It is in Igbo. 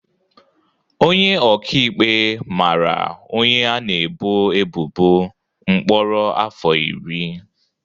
Onye ọka ikpe mara onye a na-ebo ebubo mkpọrọ afọ iri.